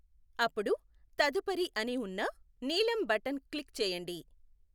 అప్పుడు తదుపరి అని ఉన్న నీలం బటన్ క్లిక్ చేయండి.